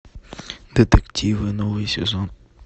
детективы новый сезон